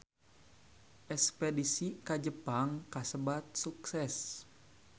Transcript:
Espedisi ka Jepang kasebat sukses